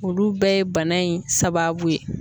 Olu bɛɛ ye bana in sababu ye.